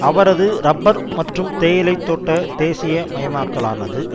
அவரது இறப்பர் மற்றும் தேயிலை தோட்ட தேசிய மயமாக்கலானது